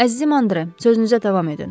Əzizim Andre, sözünüzə davam edin.